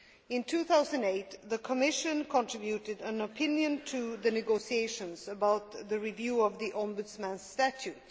In 2008, the Commission contributed an opinion to the negotiations on the review of the Ombudsman's Statute.